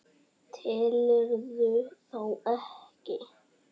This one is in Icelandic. Telurðu þá ekki?